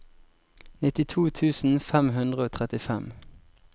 nittito tusen fem hundre og trettifem